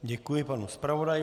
Děkuji panu zpravodaji.